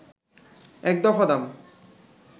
এক দফা দাম